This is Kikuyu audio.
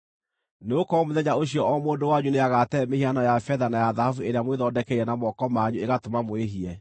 Nĩgũkorwo mũthenya ũcio o mũndũ wanyu nĩagatee mĩhianano ya betha na ya thahabu ĩrĩa mwĩthondekeire na moko manyu ĩgatũma mwĩhie.